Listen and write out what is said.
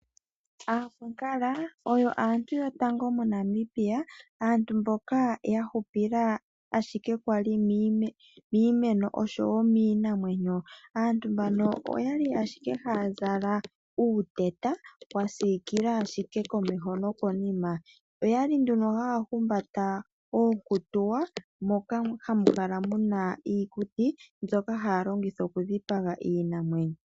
Aakwankala oyo aantu yotango moNambia, aantu mboka ya hupila ashike kwali miimeno oshowo miinamwenyo. Aantu mbano oyali haya zala uuteta wa siikila ashike komeho nokonima. Oyali nduno haya humbata oonkutuwa moka hamu kala muna iikuti, mbyoka haya longitha okudhipaga iinamwenyo.